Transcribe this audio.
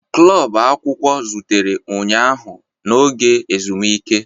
Klọb akwụkwọ zutere ụnyaahụ n'oge ezumike.